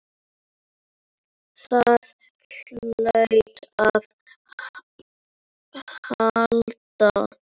Það hlaut að halda.